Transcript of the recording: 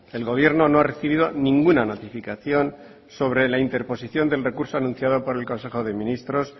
el gobierno no ha recibido ninguna notificación sobre la interposición del recurso anunciado por el consejo de ministros